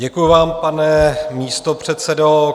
Děkuji vám, pane místopředsedo.